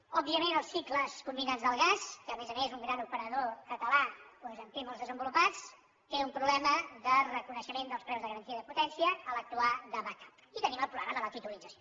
òbviament els cicles combinats del gas que a més a més un gran operador català doncs en té molts de desenvolupats té un problema de reconeixement dels preus de garantia i de potència a l’actuar de backupi tenim el problema de la titulització